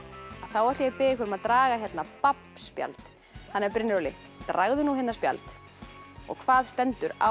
ætla ég að biðja ykkur að draga hérna babb spjald Brynjar Óli dragðu nú hérna spjald og hvað stendur á